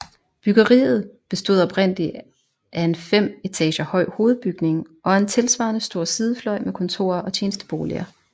Bryggeriet bestod oprindeligt af en fem etager høj hovedbygning og en tilsvarende stor sidefløj med kontorer og tjenesteboliger